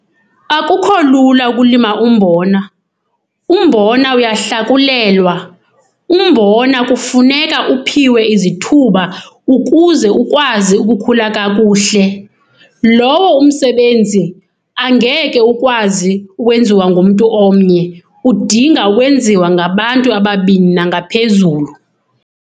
Akukho lula ukulima umbona. Umbona uyahlakulelwa, umbona kufuneka uphiwe izithuba ukuze ukwazi ukukhula kakuhle. Lowo umsebenzi angeke ukwazi ukwenziwa ngumntu omnye, udinga ukwenziwa ngabantu ababini nangaphezulu.